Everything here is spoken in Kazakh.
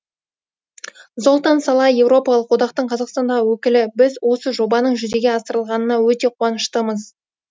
золтан салаи еуропалық одақтың қазақстандағы өкілі біз осы жобаның жүзеге асырылғанына өте қуаныштымыз